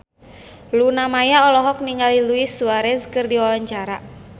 Luna Maya olohok ningali Luis Suarez keur diwawancara